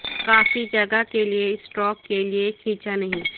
کافی جگہ کے لئے اسٹروک کے لئے کھینچا نہیں